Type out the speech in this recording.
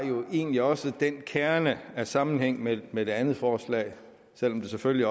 egentlig også den kerne af sammenhæng med med det andet forslag selv om det selvfølgelig